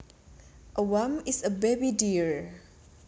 A fawn is a baby deer